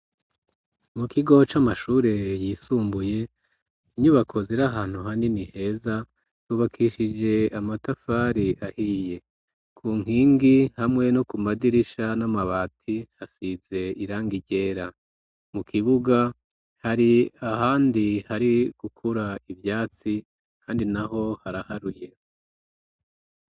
Mu kigo c'amashure yisumbuye inyubako ziri ahantu hanini heza yubakishije amatafari ahiye. Ku nkingi hamwe no ku madirisha n'amabati hasize irangi ryera. Mu kibuga hari ahandi hari gukura ivyatsi handi naho haraharuye.